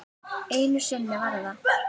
Einu sinni var það